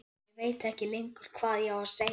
Og ég veit ekkert lengur hvað ég á að segja.